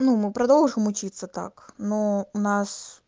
ну мы продолжим учиться так но у нас